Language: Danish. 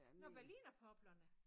Nåh berlinerpoplerne